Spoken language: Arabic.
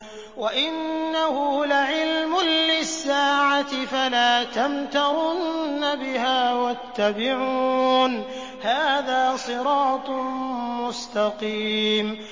وَإِنَّهُ لَعِلْمٌ لِّلسَّاعَةِ فَلَا تَمْتَرُنَّ بِهَا وَاتَّبِعُونِ ۚ هَٰذَا صِرَاطٌ مُّسْتَقِيمٌ